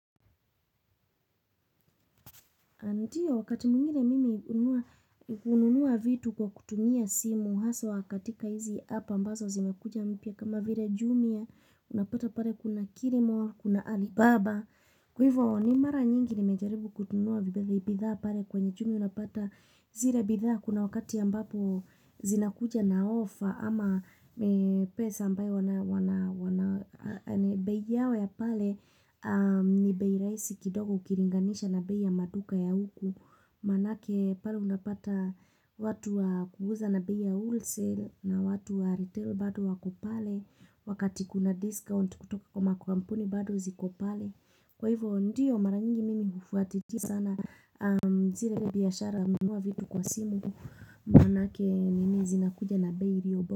Ndio, wakati mwingine mimi hununua vitu kwa kutumia simu, haswa katika hizi app ambazo zimekuja mpya kama vile jumia, unapata pale kuna kilimall, kuna alibaba. Kwa hivyo ni mara nyingi nimejaribu kununua bidhaa pale kwenye jumia unapata zile bidhaa kuna wakati ambapo zinakuja na ofa ama pesa ambayo wana bei yao ya pale ni bei rahisi kidogo ukilinganisha na bei ya maduka ya huku manake pale unapata watu wa kuuza na bei ya wholesale na watu wa retail bado wako pale wakati kuna discount kutoka kwa makampuni bado ziko pale kwa hivyo ndiyo mara nyingi mimi hufuatilia sana zile biashara ambao viko kwa simu Manake nini zinakuja na bei iliyo bora.